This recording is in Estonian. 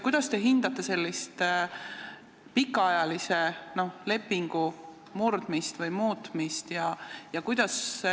Kuidas te hindate pikaajalise lepingu muutmist?